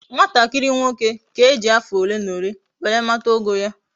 Nwatakiri nwoke ka eji afo ole na ole were mata ogo ya